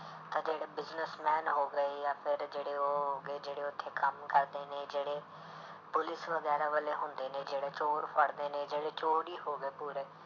ਤਾਂ ਜਿਹੜੇ businessman ਹੋ ਗਏ ਜਾਂ ਫਿਰ ਜਿਹੜੇ ਉਹ ਹੋ ਗਏ ਜਿਹੜੇ ਉੱਥੇ ਕੰਮ ਕਰਦੇ ਨੇ ਜਿਹੜੇ ਪੁਲਿਸ ਵਗੈਰਾ ਵਾਲੇ ਹੁੰਦੇ ਨੇ ਜਿਹੜੇ ਚੋਰ ਫੜਦੇ ਨੇ ਜਿਹੜੇ ਚੋਰ ਹੀ ਹੋ ਗਏ ਪੂਰੇ,